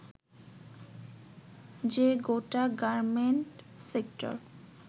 যে গোটা garment sector